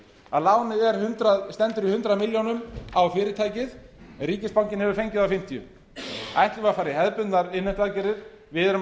að lánið stendur í hundrað milljónir á fyrirtækið en ríkisbankinn hefur fengið það á fimmtíu milljónir ætlum við að fara í hefðbundnar innheimtuaðgerðir við erum